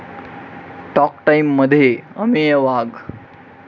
talk टाईम'मध्ये अमेय वाघ